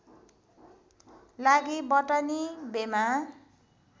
लागि बटनी बेमा